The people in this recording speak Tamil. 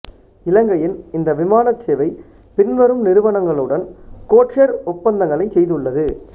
இலங்கையின் இந்த விமானச்சேவை பின்வரும் நிறுவனங்களுடன் கோட்ஷேர் ஒப்பந்தங்களைச் செய்துள்ளது